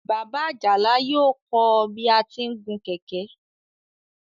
Bàbá Àjàlá yóò kọ́ ọ bí a ti ń gun kẹ̀kẹ́.